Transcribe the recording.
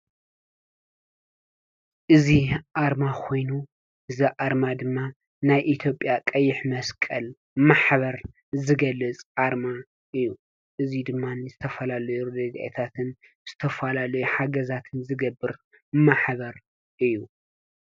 እዚ ኣርማ ኮይኑ፣ እዚ ኣርማ ድማ ናይ ኢ/ያ ቀይሕ መስቀል ማሕበር ዝገልፅ ኣርማ እዩ፡፡ እዚ ድማ ዝተፈላለዩ ረዲኤታትን ዝተፈላለዩ ሓገዛትን ዝገብር ማሕበር እዩ፡፡